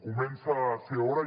comença a ser hora